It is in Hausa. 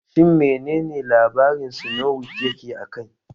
Shin mene ne labarin sinowite yake a kai?